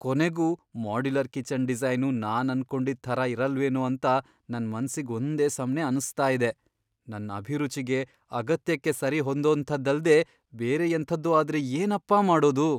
ಕೊನೆಗೂ modular kitchen design ನಾನನ್ಕೊಂಡಿದ್ ಥರ ಇರಲ್ವೇನೋ ಅಂತ ನನ್ ಮನ್ಸಿಗ್ ಒಂದೇ ಸಮ್ನೇ ಅನ್ಸ್ತಾ ಇದೆ. ನನ್ ಅಭಿರುಚಿಗೆ, ಅಗತ್ಯಕ್ಕೆ ಸರಿ ಹೊಂದೋಂಥದ್ದಲ್ದೇ ಬೇರೆ ಎಂಥದ್ದೋ ಆದ್ರೆ ಏನಪ್ಪಾ ಮಾಡೋದು?